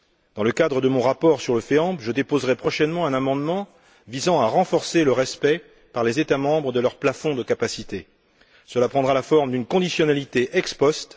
Dans le cadre de mon rapport sur le FEAMP, je déposerai prochainement un amendement visant à renforcer le respect, par les États membres, de leur plafond de capacité, sous la forme d'une conditionnalité ex post.